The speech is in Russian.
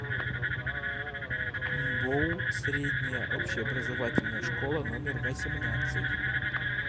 мбоу средняя общеобразовательная школа номер восемнадцать